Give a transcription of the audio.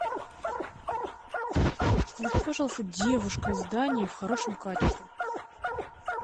включи пожалуйста девушка из дании в хорошем качестве